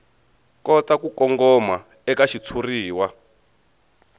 kota ku kongoma eka xitshuriwa